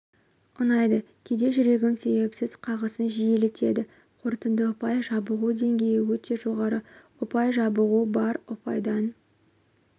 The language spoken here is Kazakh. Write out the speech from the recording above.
ұнайды кейде жүрегім себепсіз қағысын жиілетеді қорытынды ұпай жабығу деңгейі өте жоғары ұпай жабығу бар ұпайдан